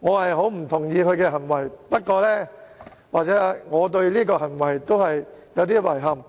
我不太同意他的行為"或"我對這種行為感到有點遺憾，不過......